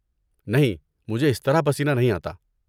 نہیں، مجھے اس طرح پسینہ نہیں آتا۔